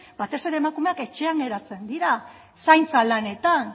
batez ere emakumeak etxean geratzen dira zaintza lanetan